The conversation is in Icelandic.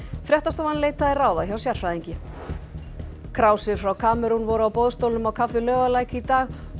fréttastofan leitaði ráða hjá sérfræðingi frá Kamerún voru á boðstólum á kaffi Laugalæk í dag